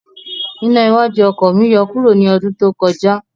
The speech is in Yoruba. Iná iwájú oko mi yọ kuro ni ọdún tó kọjá